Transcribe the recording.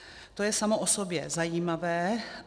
To je samo o sobě zajímavé.